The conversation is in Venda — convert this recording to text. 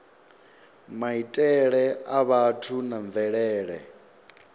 maitele a vhathu na mvelele